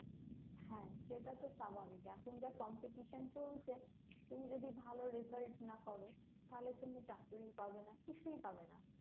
হ্যাঁ সেটা তো স্বাভাবিক এখন যা competition চলছে তুমি যদি ভালো result না করো তাহলে তুমি চাকরি পাবে না কিছুই পাবে না